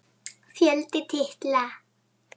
Fjöldi titla